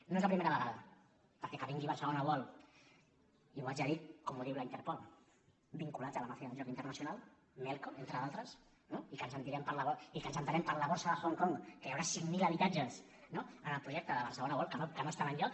no és la primera vegada perquè que vingui barcelona world i ho haig de dir com ho diu la interpol vinculats a la màfia del joc internacional melco entre d’altres i que en sentirem parlar molt i que ens assabentem per la borsa de hong kong que hi haurà cinc mil habitatges en el projecte de barcelona world que no estan enlloc